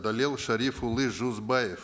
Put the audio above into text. дәлел шәріпұлы жүзбаев